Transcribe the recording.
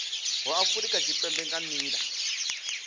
wa afurika tshipembe nga nila